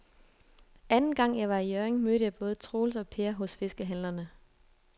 Anden gang jeg var i Hjørring, mødte jeg både Troels og Per hos fiskehandlerne.